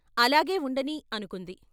అలాగే ఉండనీ అనుకుంది.